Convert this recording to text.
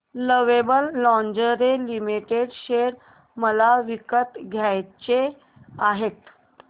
lovable lingerie limited share मला विकत घ्यायचे आहेत